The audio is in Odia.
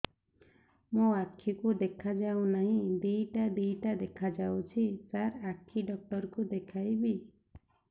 ମୋ ଆଖିକୁ ଦେଖା ଯାଉ ନାହିଁ ଦିଇଟା ଦିଇଟା ଦେଖା ଯାଉଛି ସାର୍ ଆଖି ଡକ୍ଟର କୁ ଦେଖାଇବି